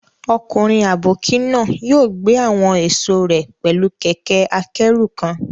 Ọkùnrin àbókí náà yóò gbé àwọn èso rẹ̀ pẹ̀lú kẹ̀kẹ́-akẹ́rù kan